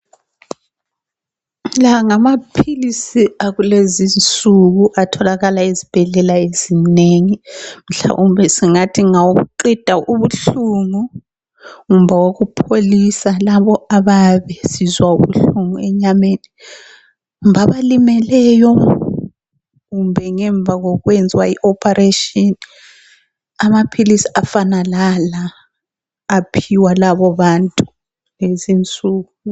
La ngamaphilisi akulezi insuku atholakala ezibhedlela ezinengi mhlawumbe singathi ngawokuqeda ubuhlungu kumbe ukupholisa labo abayabe besizwa ubuhlungu enyameni kumbe olimeleyo kumbe ngemuva kokwenzwa i ophareshini amaphilisi afana lala aphiwa laba bantu kulezinsuku.